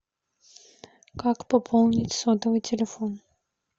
как пополнить сотовый телефон